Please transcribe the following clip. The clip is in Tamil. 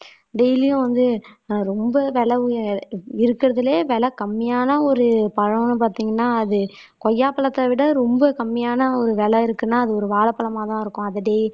டெய்லியும் வந்து ஆஹ் ரொம்ப விலை இருக்கறதிலேயே விலை கம்மியான ஒரு பழம்னு பாத்தீங்கன்னா அது கொய்யாப்பழத்தை விட ரொம்ப கம்மியான ஒரு விலை இருக்குன்னா அது ஒரு வாழைப்பழமாதான் இருக்கும். அது டெய்